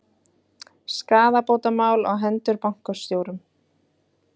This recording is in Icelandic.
Skaðabótamál á hendur bankastjórum